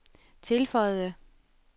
tilføjede